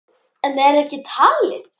En ekki er allt talið.